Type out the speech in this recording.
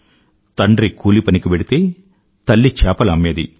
తండ్రి కూలిపనికి వెళ్తే తల్లి చేపలు అమ్మేది